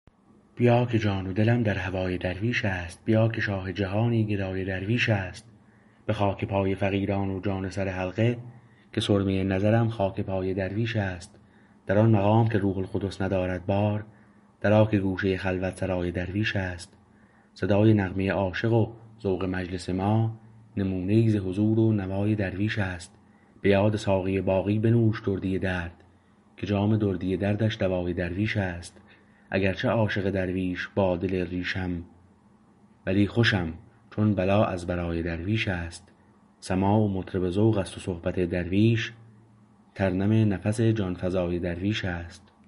بیا که جان و دلم در هوای درویش است بیا که شاه جهانی گدای درویش است به خاک پای فقیران و جان سر حلقه که سرمه نظرم خاک پای درویش است در آن مقام که روح القدس ندارد بار در آ که گوشه خلوت سرای درویش است صدای نغمه عاشق و ذوق مجلس ما نمونه ای ز حضور و نوای درویش است به یاد ساقی باقی بنوش دردی درد که جام دردی دردش دوای درویش است اگرچه عاشق درویش با دل ریشم ولی خوشم چو بلا از برای درویش است سماع و مطرب ذوق است و صحبت درویش ترنم نفس جانفزای درویش است